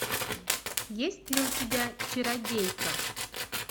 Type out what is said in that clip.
есть ли у тебя чародейка